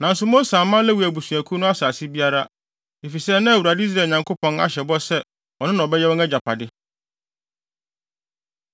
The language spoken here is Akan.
Nanso Mose amma Lewi abusuakuw no asase biara, efisɛ na Awurade, Israel Nyankopɔn ahyɛ bɔ sɛ ɔno na ɔbɛyɛ wɔn agyapade.